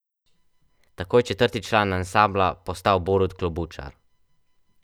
Tako je četrti član ansambla postal Borut Klobučar.